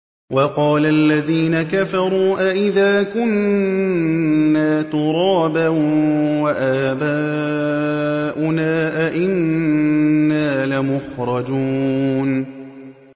وَقَالَ الَّذِينَ كَفَرُوا أَإِذَا كُنَّا تُرَابًا وَآبَاؤُنَا أَئِنَّا لَمُخْرَجُونَ